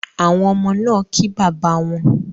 Àwọn ọmọ náa kí bàbá wón